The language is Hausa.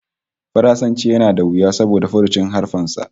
Faransanci yana da wuya saboda furucin haruffan sa